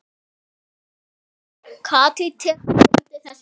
Katrín tekur undir þessi orð.